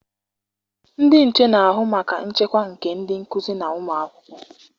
Ndị nche na-ahụ maka nchekwa nke ndị nkụzi na ụmụakwụkwọ.